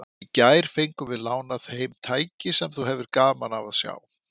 Í gær fengum við lánað heim tæki sem þú hefðir gaman af að sjá.